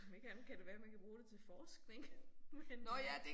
Om ikke andet kan det være man kan bruge det til forskning. Men øh